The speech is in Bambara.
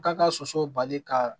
K'a ka soso bali ka